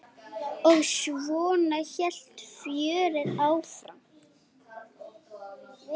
Og svona hélt fjörið áfram.